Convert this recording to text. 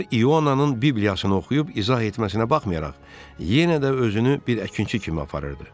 O, İyonanın bibliyasını oxuyub izah etməsinə baxmayaraq, yenə də özünü bir əkinçi kimi aparırdı.